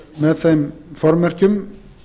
með þeim formerkjum